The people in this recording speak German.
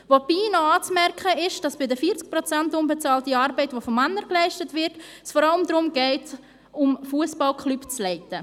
Dabei ist noch anzumerken, dass bei den 40 Prozent unbezahlter Arbeit, die von Männern geleistet wird, es vor allem darum geht, Fussballklubs zu leiten.